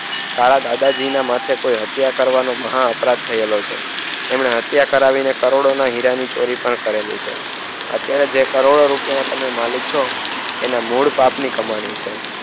તારા દાદા જી ના માથે કોયે મહા અપરાધ કરવાનો થયેલો છે એને હત્યા કરી ને કરોડો ની હીરાની ચોરી પણ કરેલી છે અત્યરે જે તમે કરોડો રૂપિયા ના માલિક છો એના મુળપાપ ની કમાણી છે.